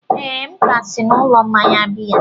ee, m ka si n'ụlọ mmanya biya